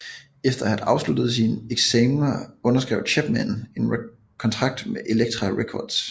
Efter at have afsluttet sine eksamner underskrev Chapman en kontrakt med Elektra Records